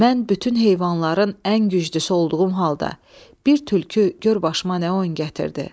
Mən bütün heyvanların ən güclüsü olduğum halda, bir tülkü gör başıma nə oyun gətirdi.